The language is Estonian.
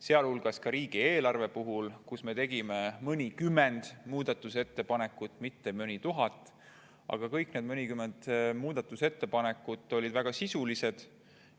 Sealhulgas tegime riigieelarve kohta mõnikümmend muudatusettepanekut, mitte mõni tuhat, aga kõik need mõnikümmend muudatusettepanekut olid väga sisulised.